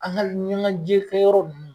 An ga ɲɛnajɛkɛyɔrɔ nunnu